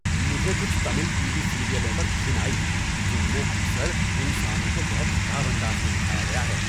مجھے کچھ Tamil TV سیریلوں پر گھن آئی جن میں اکثر انسانوں کو بہت خراب انداز میں دکھایا گیا۔